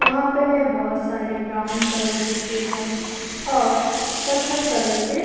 यहां पे में बोहोत सारे ब्राउन कलर के टेबल और कत्थक कलर के--